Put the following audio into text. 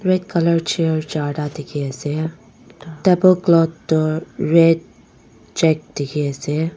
red colour chair charta dikhiase table cloth toh red check dikhiase.